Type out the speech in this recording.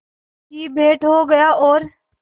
की भेंट हो गया और